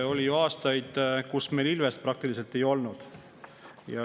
Oli ju aastaid, kui meil ilvest praktiliselt ei olnud.